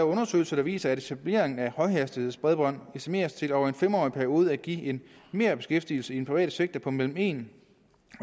undersøgelser der viser at etableringen af højhastighedsbredbånd estimeres til over en fem årig periode at give en merbeskæftigelse i den private sektor på mellem en